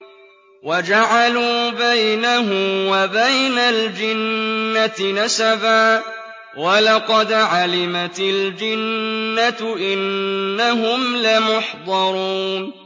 وَجَعَلُوا بَيْنَهُ وَبَيْنَ الْجِنَّةِ نَسَبًا ۚ وَلَقَدْ عَلِمَتِ الْجِنَّةُ إِنَّهُمْ لَمُحْضَرُونَ